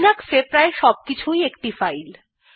Linux এ প্রায় সবকিছুই একটি ফাইল